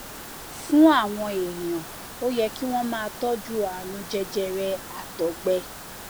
fún àwọn èèyàn ó yẹ kí wón máa tójú àrùn jẹjẹrẹ àtọgbẹ